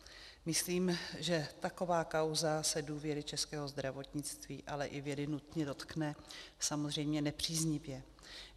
Myslím, že taková kauza se důvěry českého zdravotnictví, ale i vědy nutně dotkne, samozřejmě nepříznivě.